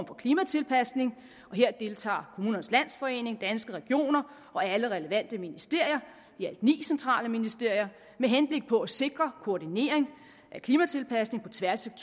for klimatilpasning og her deltager kommunernes landsforening danske regioner og alle relevante ministerier i alt ni centrale ministerier med henblik på at sikre koordinering af klimatilpasning på tværs af